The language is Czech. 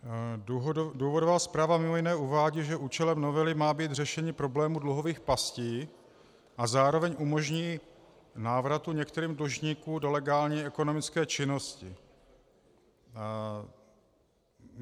Důvodová zpráva mimo jiné uvádí, že účelem novely má být řešení problému dluhových pastí a zároveň umožní návrat některých dlužníků do legální ekonomické činnosti.